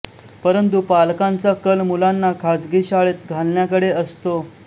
परंतु पालकांचा कल मुलांना खाजगी शाळेत घालण्याकडे असतो